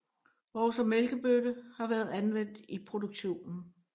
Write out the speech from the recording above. Også mælkebøtte har været anvendt i produktionen